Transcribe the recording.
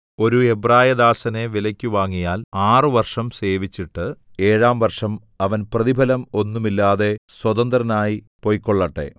ഒരു എബ്രായദാസനെ വിലയ്ക്ക് വാങ്ങിയാൽ ആറുവർഷം സേവിച്ചിട്ട് ഏഴാം വർഷം അവൻ പ്രതിഫലം ഒന്നും ഇല്ലാതെ സ്വതന്ത്രനായി പൊയ്ക്കൊള്ളട്ടെ